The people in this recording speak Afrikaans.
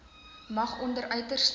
mag onder uiterste